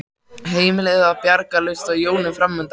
Heimilið var bjargarlaust og jólin framundan.